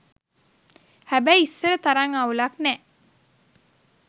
හැබැයි ඉස්සර තරං අවුලක් නෑ